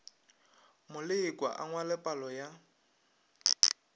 molekwa a ngwale palo ya